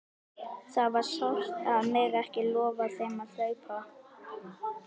Það var sárt að mega ekki lofa þeim að hlaupa!